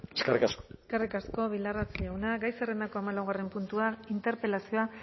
eskerrik asko eskerrik asko bildarratz jauna gai zerrendako hamalaugarren puntua interpelazioa